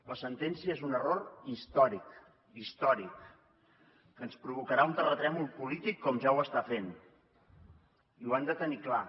la sentència és un error històric històric que ens provocarà un terratrèmol polític com ja ho està fent i ho han de tenir clar